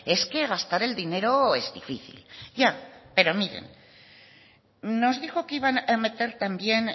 es que gastar el dinero es difícil ya pero miren nos dijo que iban a meter también